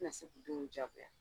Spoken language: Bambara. U tɛ na se k'o denw ja